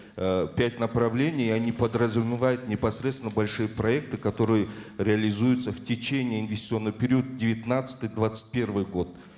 э пять направлений они подразумевают непосредственно большие проекты которые реализуются в течение инвестиционного периода девятнадцатый двадцать первый год